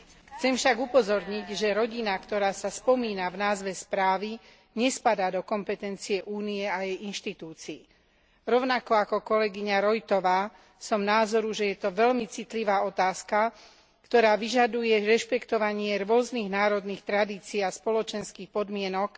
Chcem však upozorniť, že rodina, ktorá sa spomína v názve správy, nespadá do kompetencie Únie a jej inštitúcií. Rovnako ako kolegyňa Roithová som názoru, že je to veľmi citlivá otázka, ktorá vyžaduje rešpektovanie rôznych národných tradícií a spoločenských podmienok.